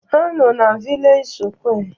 Ha nọ na vilej sụkwé